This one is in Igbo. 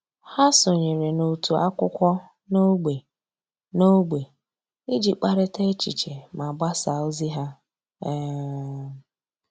Há sònyèrè n’òtù ákwụ́kwọ́ n’ógbè n’ógbè iji kparịta echiche ma gbasáá ózị́ há. um